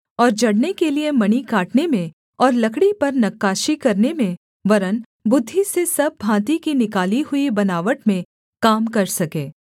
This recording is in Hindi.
और जड़ने के लिये मणि काटने में और लकड़ी पर नक्काशी करने में वरन् बुद्धि से सब भाँति की निकाली हुई बनावट में काम कर सके